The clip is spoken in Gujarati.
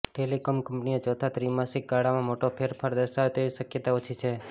ટેલિકોમ કંપનીઓ ચોથા ત્રિમાસિક ગાળામાં મોટો ફેરફાર દર્શાવે તેવી શક્યતા ઓછી છે